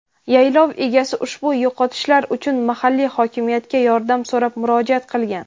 yaylov egasi ushbu yo‘qotishlar uchun mahalliy hokimiyatga yordam so‘rab murojaat qilgan.